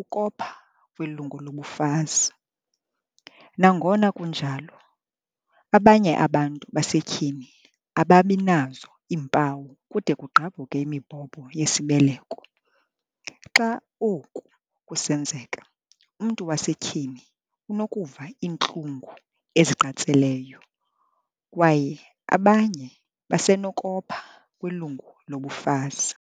ukopha kwilungu lobufazi."Nangona kunjalo, abanye abantu basetyhini ababinazo iimpawu kude kugqabhuke imibhobho yesibeleko. Xa oku kusenzeka, umntu wasetyhini unokuva iintlungu eziqatseleyo kwaye abanye basenokopha kwilungu lobufazi."